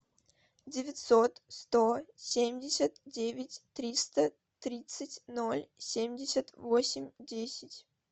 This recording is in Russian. девятьсот сто семьдесят девять триста тридцать ноль семьдесят восемь десять